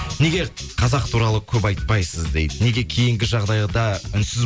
неге қазақ туралы көп айтпайсыз дейді неге кейінгі жағдайда үнсіз